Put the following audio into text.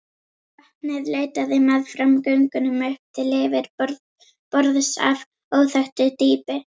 Vatnið leitaði meðfram göngunum upp til yfirborðs af óþekktu dýpi.